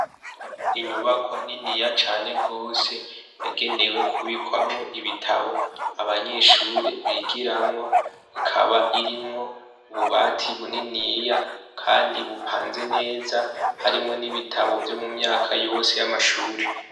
Inyubakwa niniya cane gose yagenewe kubikamwo ibitabo abanyeshure bigiramwo ikaba irimwo ububati buniniya kandi bupanze neza harimwo nibitabo vyose vyo mumyaka yamashure.